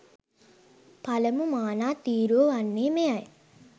පළමු මානා තීරුව වන්නේ මෙයයි.